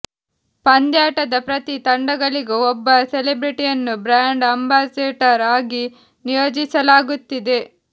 ಪಂದ್ಯಾಟದ ಪ್ರತಿ ತಂಡಗಳಿಗೂ ಒಬ್ಬ ಸೆಲೆಬ್ರಿಟಿಯನ್ನು ಬ್ರ್ಯಾಂಡ್ ಅಂಬಾಸೆಡರ್ ಆಗಿ ನಿಯೋಜಿಸಲಾಗುತ್ತಿದೆ